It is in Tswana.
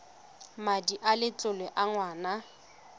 madi a letlole a ngwana